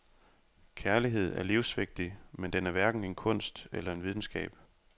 Kærlighed er livsvigtig, men den er hverken en kunst eller en videnskab.